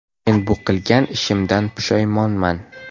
Men bu qilgan ishimdan pushaymonman.